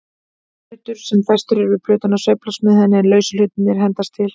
Hlutur sem festur er við plötuna sveiflast með henni, en lausu hlutirnir hendast til.